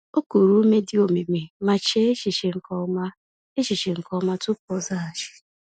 O kuru ume dị omimi, ma chee echiche nke ọma echiche nke ọma tupu ọ zaghachi.